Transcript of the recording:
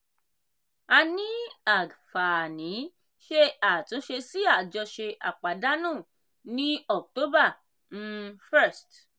a ní àǵfààní ṣe àtúnṣe sí àjọṣe àpàdánù ní october um 1st.